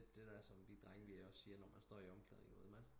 Lidt det der som vi drenge vi også siger når men står i omklædningen